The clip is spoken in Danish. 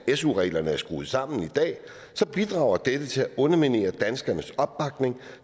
su reglerne er skruet sammen i dag bidrager dette til at underminere danskernes opbakning